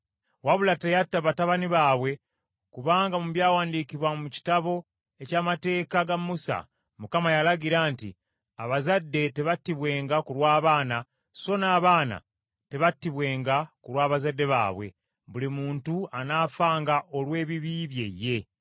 Wabula teyatta batabani baabwe kubanga mu byawandiikibwa mu Kitabo eky’Amateeka ga Musa, Mukama yalagira nti, “Abazadde tebattibwenga ku lw’abaana, so n’abaana tebattibwenga ku lw’abazadde baabwe; buli muntu anaafanga olw’ebibi bye ye.”